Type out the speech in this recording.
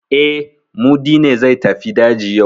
E, Mudi ne zai tafi daji yau.